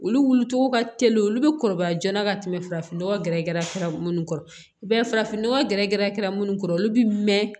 Olu wuli cogo ka teli olu bɛ kɔrɔbaya jɔna ka tɛmɛ farafin nɔgɔ gɛrɛgɛrɛ minnu kɔrɔ i b'a ye farafinnɔgɔ gɛrɛ gɛrɛ kɛra minnu kɔrɔ olu bɛ mɛn